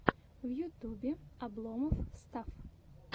в ютубе обломофф стафф